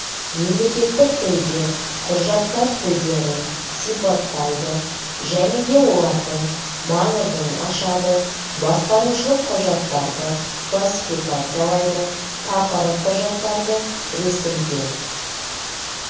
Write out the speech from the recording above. мемлекеттік тілде құжаттар түрлерін сипаттайды және де олардың маңызын ашады басқарушылық құжаттарды классификациялайды тақырып құжаттарды ресімдеу